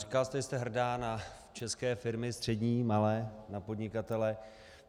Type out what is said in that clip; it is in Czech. Říkala jste, že jste hrdá na české firmy, střední, malé, na podnikatele.